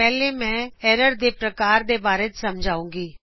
ਪਹਿਲਾ ਮੈਂ ਐਰਰ ਦੇ ਪ੍ਰਕਾਰਾ ਬਾਰੇ ਸਮਝਾਉਗੀ